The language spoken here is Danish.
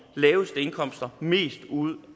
laveste indkomster mest ud